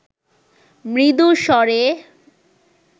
মৃদু স্বরে